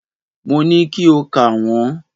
Mo ní kí o kà wọ́n.